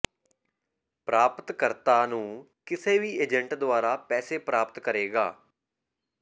ਪ੍ਰਾਪਤ ਕਰਤਾ ਨੂੰ ਕਿਸੇ ਵੀ ਏਜੰਟ ਦੁਆਰਾ ਪੈਸੇ ਪ੍ਰਾਪਤ ਕਰੇਗਾ